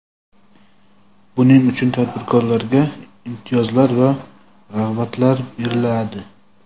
buning uchun tadbirkorlarga imtiyozlar va rag‘batlar beriladi.